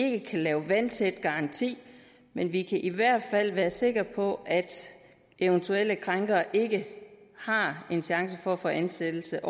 ikke kan lave en vandtæt garanti men vi kan i hvert fald være sikre på at eventuelle krænkere ikke har en chance for at få ansættelse